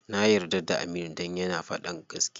Na yarda da Aminu dan yana faɗan gaskiya.